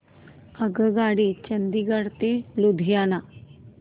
आगगाडी चंदिगड ते लुधियाना